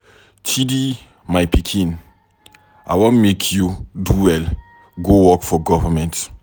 Chidi my pikin, I wan make you do well go work for government.